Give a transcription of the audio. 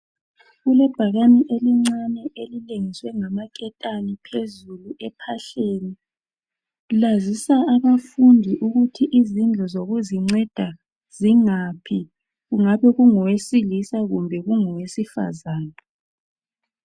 Kulebhakani elincani elilengiswe ngamaketani phezulu ephahleni lazisa abafundi ukuthi izindlu zokuzinceda zingaphi ngabe kungowesilisa kumbe kungowesifazane.